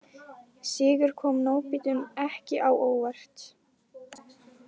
Sigur kom nábítum ekki á óvart